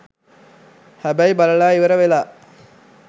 හැබැයි බලලා ඉවර වෙලා